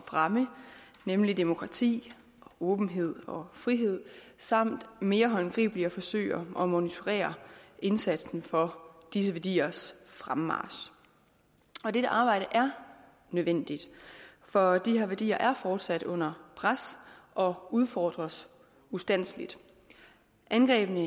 fremme nemlig demokrati åbenhed og frihed samt mere håndgribeligt at forsøge at monitorere indsatsen for disse værdiers fremmarch og dette arbejde er nødvendigt for de her værdier er fortsat under pres og udfordres ustandseligt angrebene